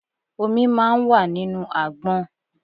Omi máa ń wà nínú àgbọn.